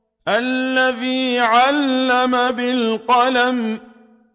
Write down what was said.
الَّذِي عَلَّمَ بِالْقَلَمِ